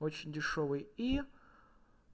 очень дешёвый и